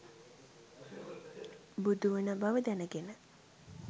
බුදුවන බව දැනගෙන